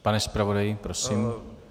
Pane zpravodaji, prosím.